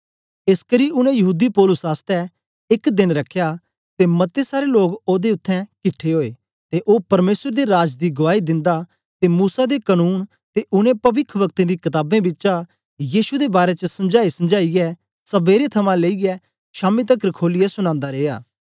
एसकरी उनै यहूदी पौलुस आसतै एक देन रख्या ते मते सारे लोग ओदे इत्थैं किट्ठे ओए ते ओ परमेसर दे राज दी गुआई दिंदा ते मूसा दे कनून ते उनै पविखवक्तें दी कताबें बिचा यीशु दे बारै च समझाईसमझाईयै सबेरे थमां लेईयै शामी तकर खोलियै सुनादा रिया